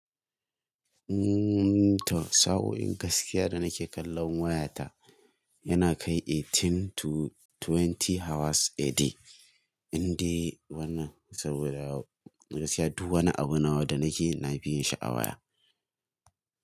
Umm, to sa'oin gaskiya da nake kallon wayata yana kai eighteen to twenty hours a day. Inde wannan saboda gaskiya duk wani abu nawa da nake na nafi yin shi a waya.